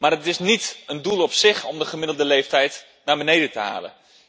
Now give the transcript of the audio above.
Het is echter niet een doel op zich om de gemiddelde leeftijd naar beneden te halen.